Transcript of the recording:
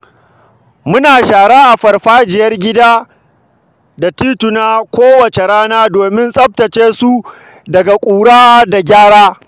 Muna shara a farfajiyar gida da tituna kowace rana domin tsaftace su daga ƙura da ganye.